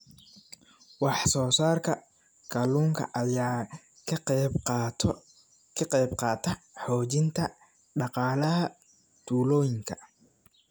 Wax soo saarka kalluunka ayaa ka qayb qaata xoojinta dhaqaalaha tuulooyinka.